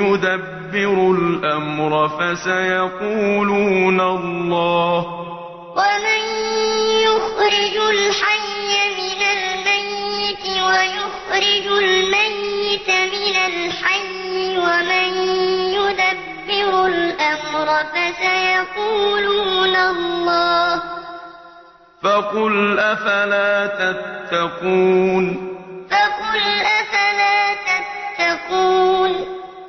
يُدَبِّرُ الْأَمْرَ ۚ فَسَيَقُولُونَ اللَّهُ ۚ فَقُلْ أَفَلَا تَتَّقُونَ قُلْ مَن يَرْزُقُكُم مِّنَ السَّمَاءِ وَالْأَرْضِ أَمَّن يَمْلِكُ السَّمْعَ وَالْأَبْصَارَ وَمَن يُخْرِجُ الْحَيَّ مِنَ الْمَيِّتِ وَيُخْرِجُ الْمَيِّتَ مِنَ الْحَيِّ وَمَن يُدَبِّرُ الْأَمْرَ ۚ فَسَيَقُولُونَ اللَّهُ ۚ فَقُلْ أَفَلَا تَتَّقُونَ